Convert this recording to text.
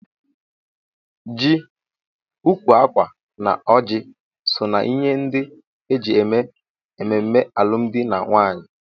Ji, ukwu akwa na ọjị so na ihe ndị eji eme ememme alụmdi na nwunye.